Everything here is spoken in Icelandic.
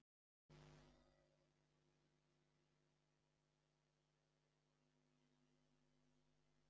Hrund: Haldið þið að margir ætli að vera hérna eitthvað á næstunni?